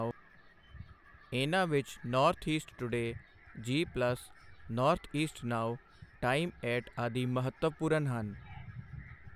ਇਨ੍ਹਾਂ ਵਿੱਚ North East Today, G Plus, North East Now, Time Eight ਆਦਿ ਮਹੱਤਵਪੂਰਨ ਹਨ।